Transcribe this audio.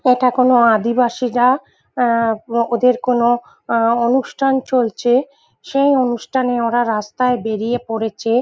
এটা কোন আদিবাসীরা আ ওদের কোন আ অনুষ্ঠান চলছে সেই অনুষ্ঠানে ওরা রাস্তায় বেরিয়ে পড়েছে।